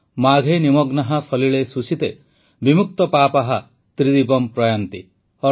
ମାଘେ ନିମଗ୍ନାଃ ସଲିଳେ ସୁଶୀତେ ବିମୁକ୍ତପାପାଃ ତ୍ରିଦିବମ୍ ପ୍ରୟାନ୍ତି